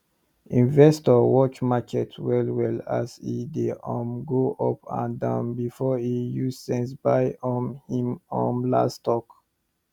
investor watch market well well as e dey um go up and down before e use sense buy um him um last stock